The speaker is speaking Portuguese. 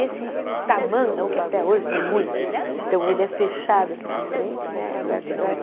Esse tamanco, que até hoje tem muito, então ele é fechado aqui na frente né, é aberto atrás.